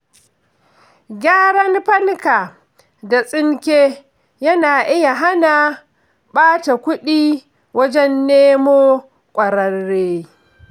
Gyaran fanka da tsinke yana iya hana ɓata kuɗi wajen nemo ƙwararre.